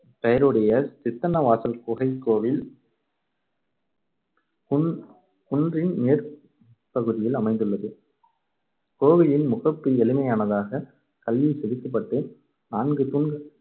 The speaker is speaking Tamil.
பெயருடைய சித்தன்னவாசல் குகைக்கோவில் குன்~ குன்றின் மேற்குப் பகுதியில் அமைந்துள்ளது. கோவிலின் முகப்பு எளிமையானதாக கல்லில் செதுக்கப்பட்டு நான்கு தூண்களைக்